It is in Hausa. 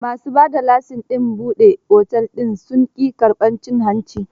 Ma su ba da lasin ɗin buɗe otel din sun ƙi karbar cin hanci.